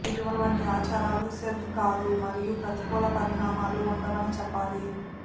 ఇటువంటి ఆచారాలు స్పెల్ కాదు మరియు ప్రతికూల పరిణామాలు ఉండవని చెప్పాలి